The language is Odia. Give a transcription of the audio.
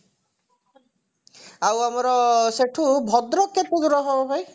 ଆଉ ଆମର ସେଠୁ ଭଦ୍ରକ କେତେ ଦୂର ହବ ଭାଇ